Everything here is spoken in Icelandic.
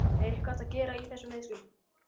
Er eitthvað hægt að gera í þessum meiðslum?